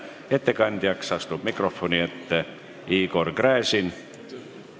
Ettekandjana astub mikrofoni ette Igor Gräzin.